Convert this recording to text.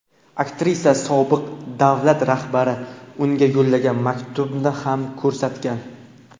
Aktrisa sobiq davlat rahbari unga yo‘llagan maktubni ham ko‘rsatgan.